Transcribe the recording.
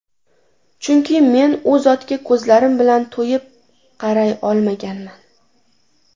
Chunki men U zotga ko‘zlarim bilan to‘yib qaray olmaganman”.